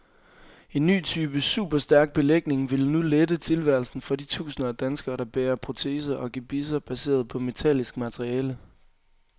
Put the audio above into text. En ny type superstærk belægning vil nu lette tilværelsen for de tusinder af danskere, der bærer proteser og gebisser baseret på metallisk materiale.